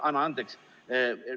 Anna andeks!